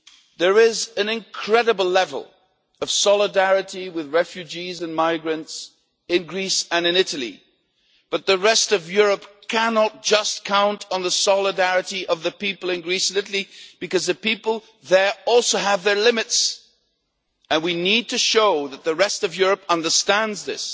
There is an incredible level of solidarity with refugees and migrants in Greece and in Italy. But the rest of Europe cannot simply count on the solidarity of the people in Greece and Italy, because the people there also have their limits, and we need to show that the rest of Europe understands this